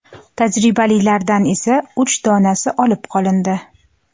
Tajribalilardan esa uch donasi olib qolindi.